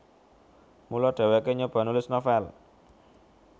Mula dhèwèké nyoba nulis novel